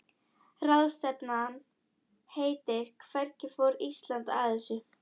Ráðstefnan heitir Hvernig fór Ísland að þessu?